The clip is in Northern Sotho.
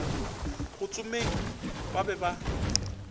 go tsomeng ba be ba